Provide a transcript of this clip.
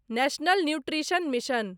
national nutrition mission